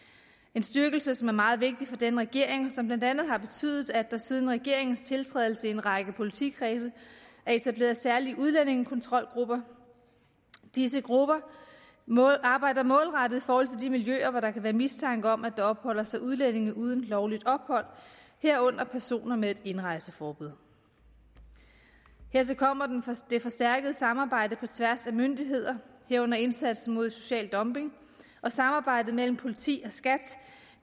en styrkelse som er meget vigtig for denne regering og som blandt andet har betydet at der siden regeringens tiltrædelse i en række politikredse er etableret særlige udlændingekontrolgrupper disse grupper målretter arbejde mod de miljøer hvor der kan være mistanke om at der opholder sig udlændinge uden lovligt ophold herunder personer med indrejseforbud hertil kommer det forstærkede samarbejde på tværs af myndigheder herunder indsatsen mod social dumping og samarbejdet mellem politi og skat